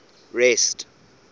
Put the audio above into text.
rest